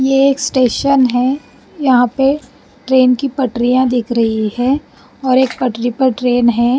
ये एक स्टेशन है यहाँ पे ट्रेन की पटरियाँ दिख रही हैं और एक पटरी पर ट्रेन है।